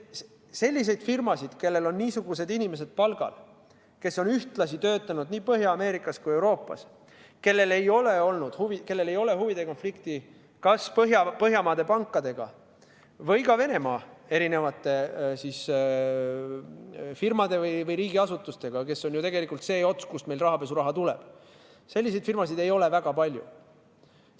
Selliseid firmasid, kellel on palgal niisugused inimesed, kes on ühtlasi töötanud nii Põhja-Ameerikas kui Euroopas, kellel ei ole huvide konflikti kas Põhjamaade pankadega või ka Venemaa erinevate firmade või riigiasutustega – see on ju tegelikult see ots, kust meil rahapesu raha tuleb –, selliseid firmasid ei ole väga palju.